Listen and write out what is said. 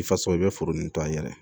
I faso i bɛ foro nin to an yɛrɛ ye